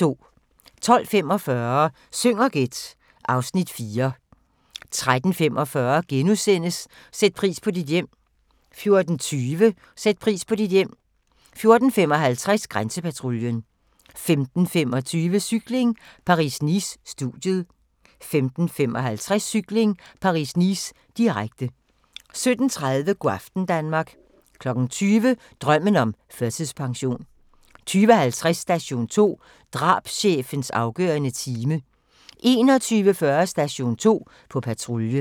12:45: Syng og gæt (Afs. 4) 13:45: Sæt pris på dit hjem * 14:20: Sæt pris på dit hjem 14:55: Grænsepatruljen 15:25: Cykling: Paris-Nice - studiet 15:55: Cykling: Paris-Nice, direkte 17:30: Go' aften Danmark 20:00: Drømmen om førtidspension 20:50: Station 2: Drabschefens afgørende time 21:40: Station 2: På patrulje